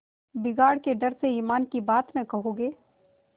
बिगाड़ के डर से ईमान की बात न कहोगे